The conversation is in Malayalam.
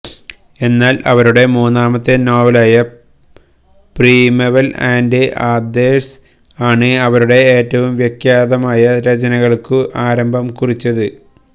എന്നാൽ അവരുടെ മൂന്നാമത്തെ നോവലായ പ്രിമെവൽ ആൻഡ് അദേഴ്സ് ആണ് അവരുടെ ഏറ്റവും വിഖ്യാതമായ രചനകൾക്കു ആരംഭം കുറിച്ചത്